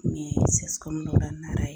Ɲe CSCOM dɔ la Nara ye